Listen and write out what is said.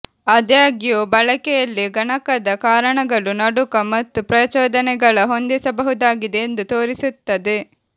ಆದಾಗ್ಯೂ ಬಳಕೆಯಲ್ಲಿ ಗಣಕದ ಕಾರಣಗಳು ನಡುಕ ಮತ್ತು ಪ್ರಚೋದನೆಗಳ ಹೊಂದಿಸಬಹುದಾಗಿದೆ ಎಂದು ತೋರಿಸುತ್ತದೆ